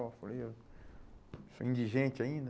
Bom eu falei, eu sou indigente ainda.